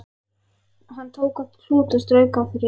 Hann tók upp klút og strauk af því ryk.